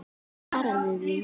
Svaraðu því!